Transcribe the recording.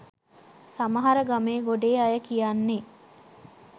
සමහර ගමේ ගොඩේ අය කියන්නේ